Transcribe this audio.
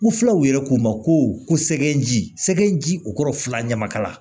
U fila u yɛrɛ ko ma ko sɛgɛn ji sɛgɛn ji o kɔrɔ fila ɲamakala la